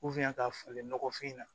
ka falen nɔgɔfin na